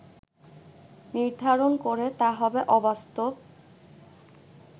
নির্ধারণ করে তা হবে অবাস্তব